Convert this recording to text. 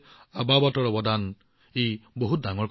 আবাবাতৰ এই অৱদান সঁচাকৈয়ে বহুত ডাঙৰ